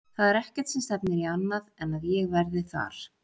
Það er ekkert sem stefnir í annað en að ég verði þar.